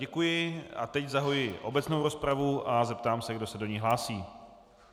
Děkuji a teď zahajuji obecnou rozpravu a zeptám se, kdo se do ní hlásí.